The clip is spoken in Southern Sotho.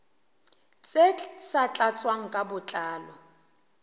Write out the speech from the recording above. tse sa tlatswang ka botlalo